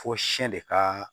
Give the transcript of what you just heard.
Fɔ siyɛn de ka